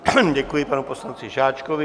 Děkuji panu poslanci Žáčkovi.